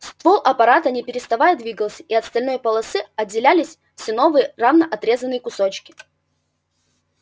ствол аппарата не переставая двигался и от стальной полосы отделялись все новые равно отрезанные кусочки